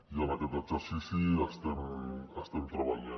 i en aquest exercici hi estem treballant